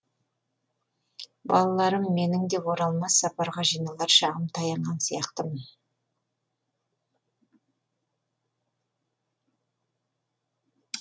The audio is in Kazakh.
балаларым менің де оралмас сапарға жиналар шағым таянған сияқтымын